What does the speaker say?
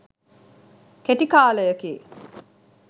කෙටි කාලයකි.